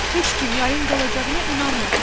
Heç kim yayın qalacağına inanmır.